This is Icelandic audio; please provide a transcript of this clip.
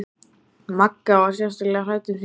Magga var sérstaklega hrædd um sína klúta.